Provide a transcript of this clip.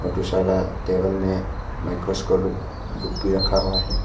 दूसरा टेबल में माइक्रोस्कोप भी रखा हुआ है।